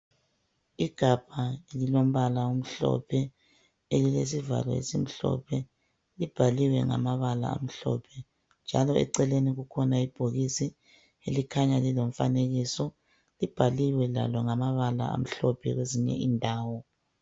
Igabha lilombala omhlophe elilesivalo esimhlophe. Libhaliwe ngamabala amhlophe njalo eceleni kukhona ibhokisi elikhanya lilomfanekiso. Libhaliwe lalo ngamabala amhlophe kwezinye indawo.